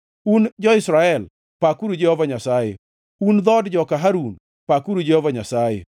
Un jo-Israel, pakuru Jehova Nyasaye; un dhood joka Harun, pakuru Jehova Nyasaye;